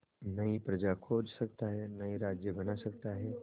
नई प्रजा खोज सकता है नए राज्य बना सकता है